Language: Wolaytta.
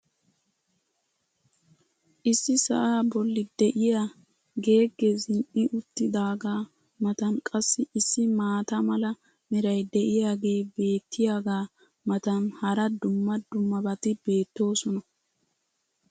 issi sa"aa boli diyaa geegee zin'i uttidaagaa matan qassi issi maata mala meray diyaagee beetiyaagaa matan hara dumma dummabati beetoosona.